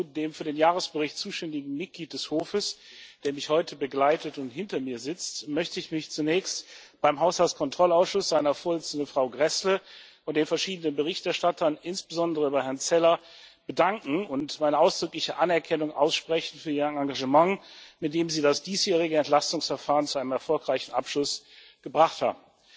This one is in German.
Lazarou, dem für den Jahresbericht zuständigen Mitglied des Hofes, der mich heute begleitet und hinter mir sitzt, möchte ich mich zunächst beim Haushaltskontrollausschuss, seiner Vorsitzenden, Frau Gräßle, und den verschiedenen Berichterstattern, insbesondere bei Herrn Zeller, bedanken und meine ausdrückliche Anerkennung aussprechen für ihr Engagement, mit dem sie das diesjährige Entlastungsverfahren zu einem erfolgreichen Abschluss gebracht haben.